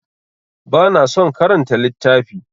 Ba na son karanta littafi.